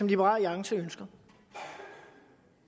liberal alliances ønske